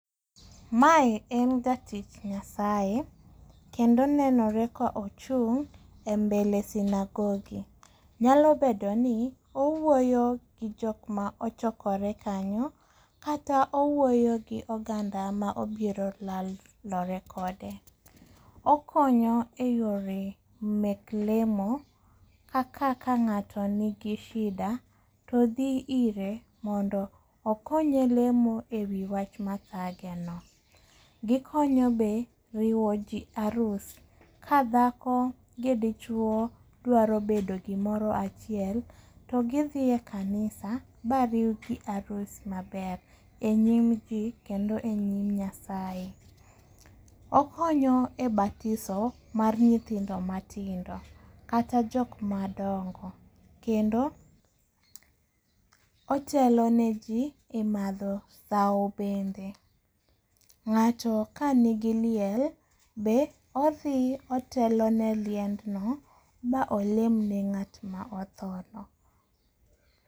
Mae en jatich Nyasaye kendo aneno ka ochung' e mbele sinagogi. Nyalo bedo ni owuoyo gi jok ma ochokore kanyo, kata owuoyo gi oganda ma obiro lalore kode. Okonyo eyore mek lemo kata ka ng'ato nigi shida to dhi ire mondo okonye lemo ewi wach mathageno. Gikonyo ji eriwo arus. Ka dhako gi dichuo dwar bedo gimoro achiel, to gidhi e kanisa ma riwgi arus maber enyim ji kendo enyim Nyasaye. Okonyo e batiso mar nyithindo matindo kata jok madongo kendo otelo neji e madho sawo bende. Ng'ato kanigiliel be odhi otelo ne liendno ma olem ne ng'at ma otho no.